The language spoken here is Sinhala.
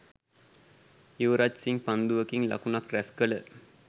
යුවරජ් සිං පන්දුකින් ලකුණුක් රැස්කළ